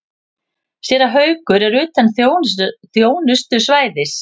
Séra Haukur er utan þjónustusvæðis.